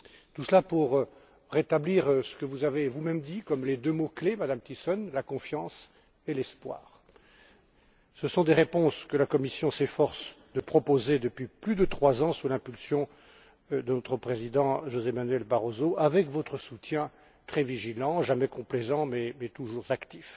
Tout cela pour rétablir ce que vous avez vous même exprimé par deux mots clés, Madame Thyssen la confiance et l'espoir. Ce sont des réponses que la Commission s'efforce de proposer depuis plus de trois ans sous l'impulsion de notre président, José Manuel Barroso, avec votre soutien très vigilant, jamais complaisant, mais toujours actif.